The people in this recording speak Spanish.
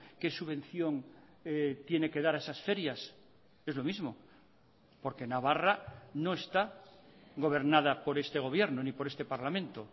qué subvención tiene que dar a esas ferias es lo mismo porque navarra no está gobernada por este gobierno ni por este parlamento